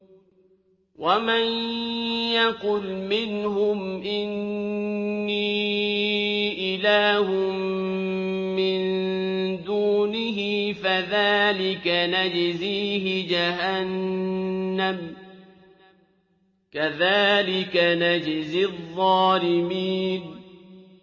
۞ وَمَن يَقُلْ مِنْهُمْ إِنِّي إِلَٰهٌ مِّن دُونِهِ فَذَٰلِكَ نَجْزِيهِ جَهَنَّمَ ۚ كَذَٰلِكَ نَجْزِي الظَّالِمِينَ